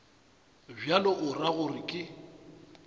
bjalo o ra gore ke